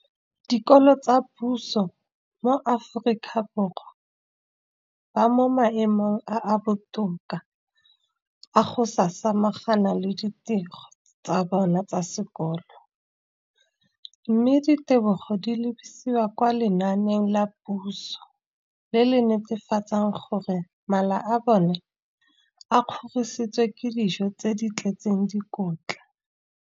Dikolo tsa puso mo Aforika Borwa ba mo maemong a a botoka a go ka samagana le ditiro tsa bona tsa sekolo, mme ditebogo di lebisiwa kwa lenaaneng la puso le le netefatsang gore mala a bona a kgorisitswe ka dijo tse di tletseng dikotla.